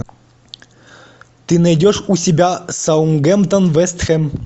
ты найдешь у себя саутгемптон вест хэм